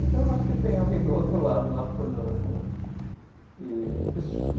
Então, acho que tem alguém do outro lado lá por nós, né? E